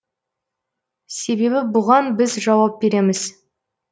себебі боған біз жауап береміз